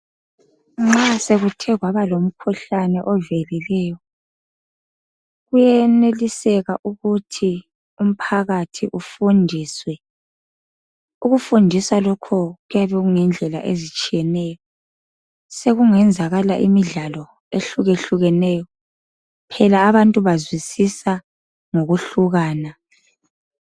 Nxa sokuthe kwaba lomkhuhlane ovelileyo kuyeneliseka ukuthi umphakathi ufundiswe. Ukufundiswa lokho kuyabe kungendlela ezitshiyeneyo sekungenzakala imidlalo ehlukehlukeneyo phela abantu bazwisisa ngokuhlukana.